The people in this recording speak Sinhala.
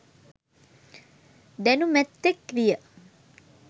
දැනුමැත්තෙක් විය